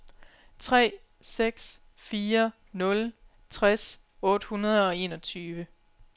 tre seks fire nul tres otte hundrede og enogtyve